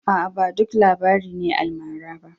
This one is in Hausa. Aa, ba duk labari ne almara ba.